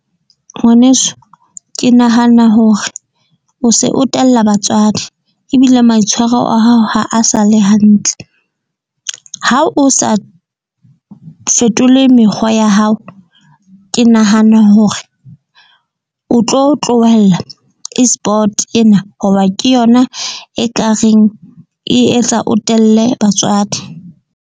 Ngwaneso ke nahana hore o se o tella batswadi ebile maitshwaro a hao ha a sa le hantle. Ha o sa fetole mekgwa ya hao. Ke nahana hore o tlo tlohella Esport ena, hoba ke yona e ka reng e etsa o telle batswadi.